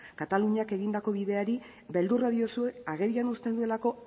kataluniak egindako bideari beldurra diozue agerian uzten duelako